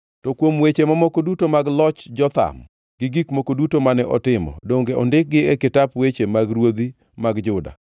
To kuom weche mamoko duto mag ndalo loch Jotham, gi gik moko duto mane otimo, donge ondikgi e kitap weche ruodhi mag Juda?